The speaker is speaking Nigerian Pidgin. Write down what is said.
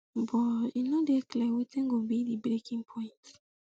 but e no dey clear wetin go be di breaking point